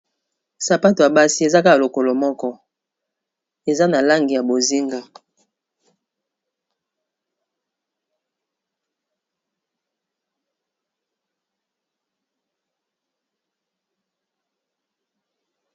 Sapato ya basi ezaka lokolo moko eza na langi ya bozinga